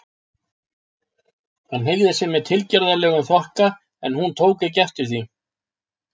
Hann hneigði sig með tilgerðarlegum þokka, en hún tók ekki eftir því.